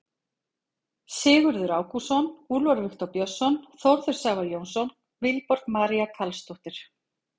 Sigurður Ágústsson, Úlfar Viktor Björnsson, Þórður Sævar Jónsson, Vilborg María Carlsdóttir.